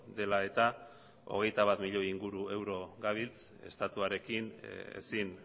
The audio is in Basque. dela eta hogeita bat milioi inguru euro dabiltza estatuarekin ezin